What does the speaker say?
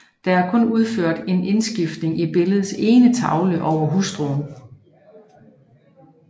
Der er kun udført en indskrift i billedets ene tavle over hustruen